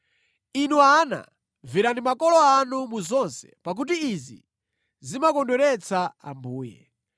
Inu ana, mverani makolo anu mu zonse pakuti izi zimakondweretsa Ambuye.